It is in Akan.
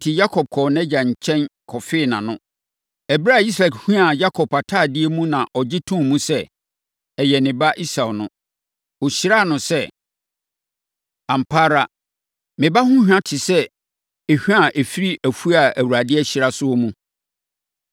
Enti, Yakob kɔɔ nʼagya Isak nkyɛn kɔfee nʼano. Ɛberɛ a Isak huaa Yakob atadeɛ mu, na ɔgye too mu sɛ, ɛyɛ ne ba Esau no, ɔhyiraa no sɛ, “Ampa ara! Me ba ho hwa te sɛ ehwa a ɛfiri afuo a Awurade ahyira so no mu.